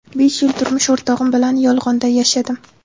Besh yil turmush o‘rtog‘im bilan yolg‘onda yashadim.